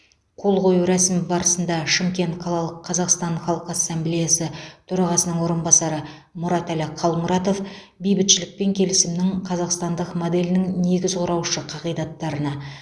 қол қою рәсімі барысында шымкент қалалық қазақстан халқы ассамблеясы төрағасының орынбасары мұратәлі қалмұратов бейбітшілік пен келісімнің қазақстандық моделінің негіз құраушы қағидаттарына